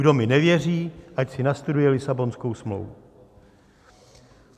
Kdo mi nevěří, ať si nastuduje Lisabonskou smlouvu.